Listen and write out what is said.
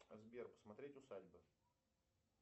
сбер посмотреть усадьба